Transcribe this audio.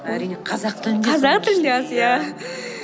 әрине қазақ тілінде қазақ тілінде аз иә